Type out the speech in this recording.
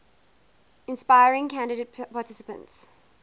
inspiring candidate participants